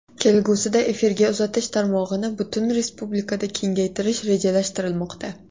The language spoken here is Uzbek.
Kelgusida efirga uzatish tarmog‘ini butun respublikada kengaytirish rejalashtirilmoqda.